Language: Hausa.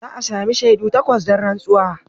Za a sami shaidu takwas don rantsuwa.